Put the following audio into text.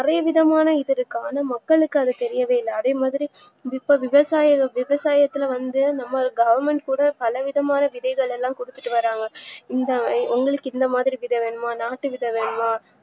நறைய விதமான இதுஇருக்கு ஆனா மக்களுக்கு அது தெரியவே இல்ல அதேமாதிரி இப்போ விவசாயம் விவசாயத்துல வந்து நம்ம government கூட பலவிதமான விதைகளெல்லாம் குடுத்துட்டு வராங்க இந்த எங்களிக்கு இந்தமாதிரி விதை வேணுமா நாட்டு விதை வேணும்மா